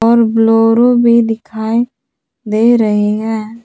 और ब्लोरो भी दिखाई दे रहे है।